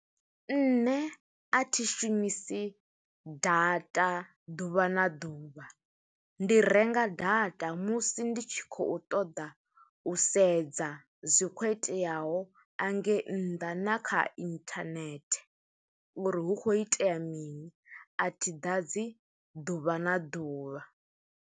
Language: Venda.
Nṋe a thi shumisi data ḓuvha na ḓuvha, ndi renga data musi ndi tshi khou ṱoḓa u sedza zwi khou iteaho angei nnḓa, na kha internet uri hu kho itea mini. A thi ḓadzi ḓuvha na ḓuvha.